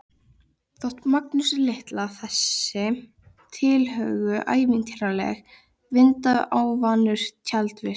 Þótti Magnúsi litla þessi tilhögun ævintýraleg, enda óvanur tjaldvist.